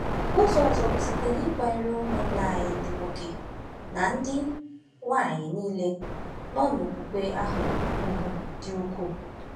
Ụzọ ọzọ bụ site n’ịkwanyere ụmụnna anyị ndị nwoke na ndị nwanyị nile nọ n’okwukwe ahụ ùgwù dị ukwuu.